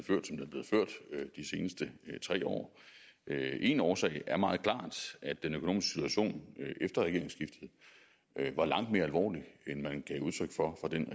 er de seneste tre år en årsag er meget klart at den økonomiske situation efter regeringsskiftet var langt mere alvorlig end man gav udtryk for fra den